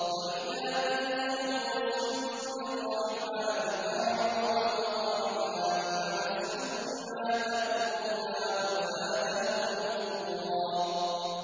وَإِذَا قِيلَ لَهُمُ اسْجُدُوا لِلرَّحْمَٰنِ قَالُوا وَمَا الرَّحْمَٰنُ أَنَسْجُدُ لِمَا تَأْمُرُنَا وَزَادَهُمْ نُفُورًا ۩